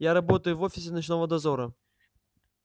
я работаю в офисе ночного дозора